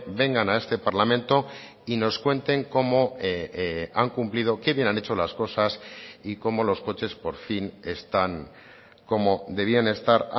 vengan a este parlamento y nos cuenten cómo han cumplido qué bien han hecho las cosas y cómo los coches por fin están como debían estar